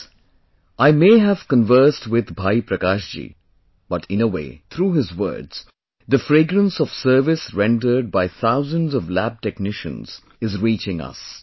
Friends, I may have conversed with Bhai Prakash ji but in way, through his words, the fragrance of service rendered by thousands of lab technicians is reaching us